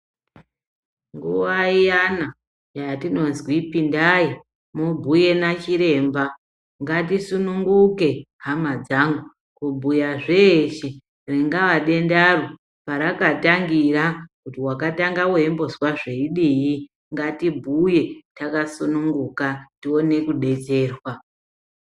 Nguwa iyana yatinozwi pindai mubhuye nachiremba ngatisunguke hama dzangu kubhuya zveshe ringaa dendaro parakatangira kuti wakatanga weimbozwa zveidii, ngatibhuye takasununguka tione kudetserwa.